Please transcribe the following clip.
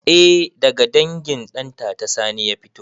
Eh daga dangin ɗantata sani ya fito